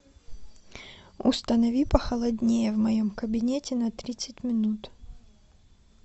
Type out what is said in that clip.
установи похолоднее в моем кабинете на тридцать минут